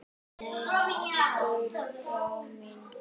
Nei, Gullbrá mín.